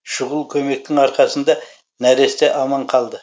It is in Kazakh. шұғыл көмектің арқасында нәресте аман қалды